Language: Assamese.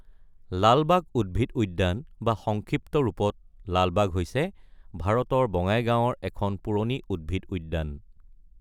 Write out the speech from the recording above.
লালবাগ উদ্ভিদ উদ্যান বা সংক্ষিপ্ত ৰূপত লালবাগ হৈছে ভাৰতৰ বঙাইগাঁওৰ এখন পুৰণি উদ্ভিদ উদ্যান।